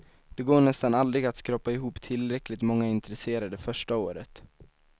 Det går nästan aldrig att skrapa i hop tillräckligt många intresserade första året.